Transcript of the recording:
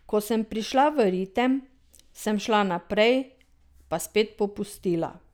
Ko sem prišla v ritem, sem šla naprej, pa spet popustila.